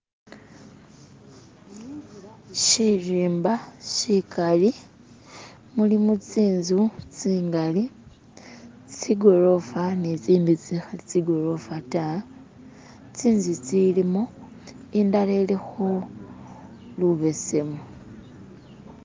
Shirimba sikali mulimo tsinzu tsingali tsigorofa ne tsindi tsikhali tsigorofa ta tsinzu tsilimo indala ilikho lubesemu.